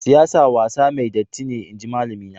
Siyasa wasa mai datti ne, inji malami na.